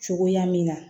Cogoya min na